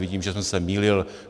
Vidím, že jsem se mýlil.